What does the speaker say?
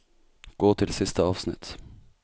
Gå til siste avsnitt